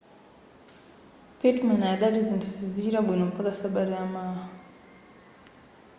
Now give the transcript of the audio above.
pittman adati zinthu sizichita bwino mpaka sabata yamawa